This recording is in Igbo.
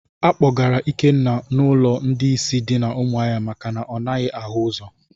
A kpọgara Ikenna n'ụlọ ndị ìsì dị na umuahia maka na ọ naghị ahụ ụzọ